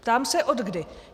Ptám se - odkdy?